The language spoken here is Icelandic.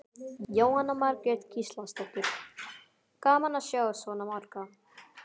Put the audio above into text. Jóhanna Margrét Gísladóttir: Gaman að sjá svona marga?